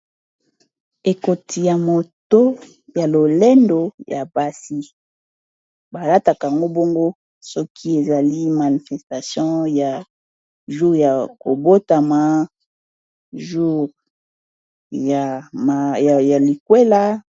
ekoti ya moto ya lolendo ya basi balatakamgo bongo soki ezali manifestation ya jour ya kobotama jour ya likwela